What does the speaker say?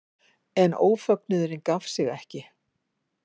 En ófögnuðurinn gaf sig ekki.